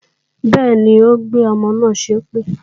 Bẹ́ẹ̀ni, ó gbé ọmọ náà ṣépè